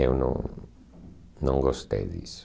Eu não não gostei disso.